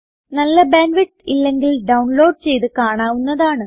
നല്ല bandwidth ഇല്ലെങ്കിൽ download ചെയ്ത് കാണാവുന്നതാണ്